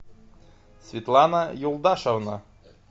светлана юлдашевна